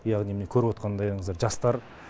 яғни міне көріп отқандайыңыздай жастар